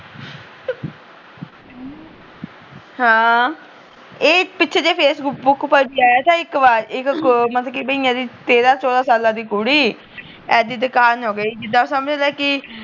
ਹਾਂ ਇਹ ਪਿੱਛੇ ਜਹੇ ਫੇਸਬੁੱਕ ਪਰ ਵੀ ਆਇਆ ਥਾ ਇੱਕ ਬਾਰ ਇੱਕ ਮਤਲੱਬ ਕੀ ਮਹੀਨੇ ਦੀ ਤੇਰਾਂ ਚੋਢਾ ਸਾਲਾਂ ਦੀ ਕੁੜੀ ਜਿਦਾ ਸਮਜ਼ ਲਾ ਕੀ